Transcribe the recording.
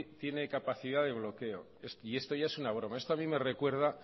tiene capacidad de bloqueo y esto ya es una broma esto a mí me recuerda